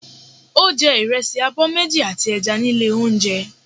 Ó jẹ ìrẹsì abọ́ méjì àti ẹja ní ilé oúnjẹ.